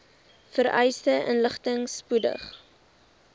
vereiste inligting spoedig